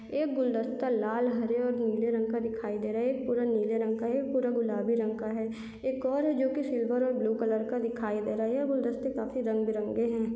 एक गुलदस्ता लाल हरे और नीले रंग का दिखाई दे रहा एक पूरा नीले रंग का है एक पूरा गुलाबी रंग का है एक और है जो के सिल्वर और ब्लू कलर का दिखाए दे रहा है यह गुलदस्ते काफी रंग-बिरंगे है।